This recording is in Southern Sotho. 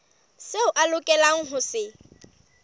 seo a lokelang ho se